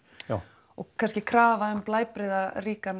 og kannski krafa um